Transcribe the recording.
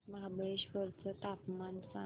महाबळेश्वर चं तापमान सांग